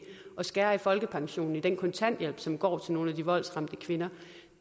at skære i folkepensionen i den kontanthjælp som går til nogle af de voldsramte kvinder